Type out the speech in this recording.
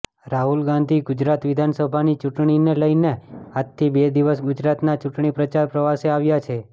રાહુલ ગાંધી ગુજરાત વિધાનસભાની ચૂંટણીને લઈને આજથી બે દિવસ ગુજરાતના ચૂંટણીપ્રચાર પ્રવાસે આવ્યા છે